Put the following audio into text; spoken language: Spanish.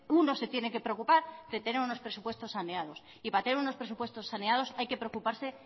uno se tiene que preocupar de tener unos presupuestos saneados y para tener unos presupuestos saneados hay que preocuparse